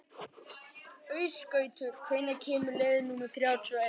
Ásgautur, hvenær kemur leið númer þrjátíu og eitt?